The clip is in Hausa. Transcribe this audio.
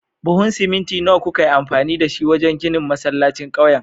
Buhun siminti nawa kuka yi amfani da shi wajen ginin masallacin ƙauyen?